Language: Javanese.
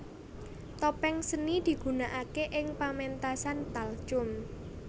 Topeng seni digunakake ing pementasan talchum